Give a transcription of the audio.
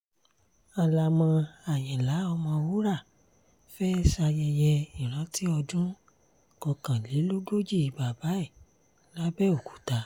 halama àyìnlá ọ̀mọwúrà fẹ́ẹ́ ṣayẹyẹ ìrántí ọdún kọkànlélógójì bàbá ẹ̀ làbẹ́ọ̀kúta